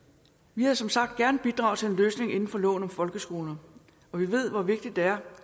vi havde som sagt gerne bidraget til en løsning inden for loven om folkeskoler og vi ved hvor vigtigt det er